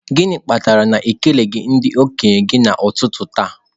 Gịnị kpatara na unu ekeleghị ndị okenye gị n'ụtụtụ taa?